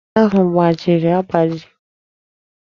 Aka osisi ahụ gbajiri agbaji.